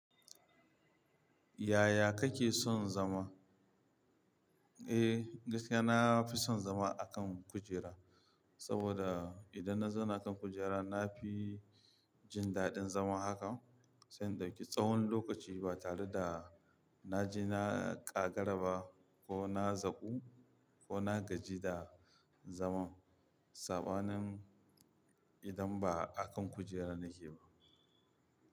Yaya kake son zama? Eh, gaskiya na fi son zama a kan kujera, saboda idan na zauna kan kujera na fi jin daɗin zama haka, sai indau ki tsawon lokaci ba tare da na ji na ƙagara ba ko na zaku ko na gaji da zaman saɓanin idan ba a kan kujera nake ba.